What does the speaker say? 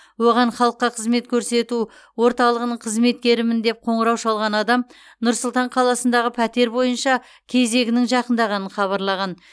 оған халыққа қызмет көрсету орталығының қызметкерімін деп қоңырау шалған адам нұр сұлтан қаласындағы пәтер бойынша кезегінің жақындағанын хабарлаған